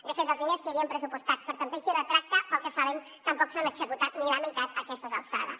de fet els diners que hi havien pressupostats per a tanteig i retracte pel que sabem tampoc s’han executat ni la meitat a aquestes alçades